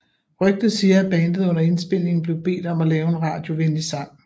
Rygter siger at bandet under indspilningen blev bedt om at lave en radiovenlig sang